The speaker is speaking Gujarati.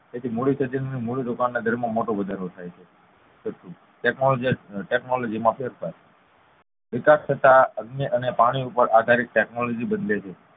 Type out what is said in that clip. જેથી મુડીક્ષેત્ર માં મૂડીરોકાણ ના દર માં મોટો વધારો થાય છે છઠ્ઠું ટેકનોલોજી માં ફેરફાર વિકાસ થતા અગ્નિ અને પાણી ઉપ્પર આધારિત ટેકનોલોજી બદલાય છે